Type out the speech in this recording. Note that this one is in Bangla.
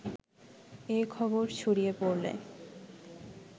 এ খবর ছড়িয়ে পড়লে